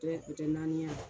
Tɔ ye naani ye a?